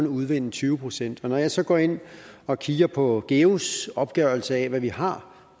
udvinde tyve procent når jeg så går ind og kigger på geus opgørelse af hvad vi har